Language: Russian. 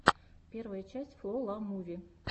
первая часть фло ла муви